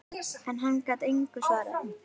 En hann gat engu svarað.